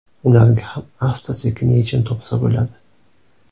Ularga ham asta-sekin yechim topsa bo‘ladi.